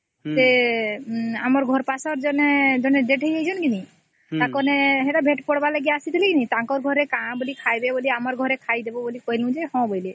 ସେ ଆମର ଘର ପସର ଜଣେ ଦେଠେଇ ହେଇଚନ କେ ନାଇଁ ସେତ ଭେଟ ପଡ଼ିବାର ଆସିଥିଲେ ନାଇଁ ତାଙ୍କ ଘରେ କଣ ଆମର ଘରେ ଖାଇଦେବା କହିଲେ ବୋଲେ ହଁ କହିଅଲେ